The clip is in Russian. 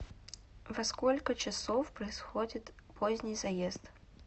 во сколько часов происходит поздний заезд